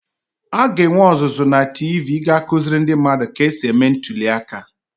a ga-enwe ọzụzụ na TV ga-akụziri ndị mmadụ ka e si eme ntuli aka